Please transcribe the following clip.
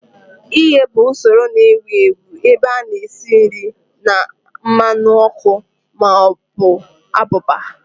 Ighe bụ usoro na-ewu ewu ebe a na-esi nri na mmanụ ọkụ ma ọ bụ abụba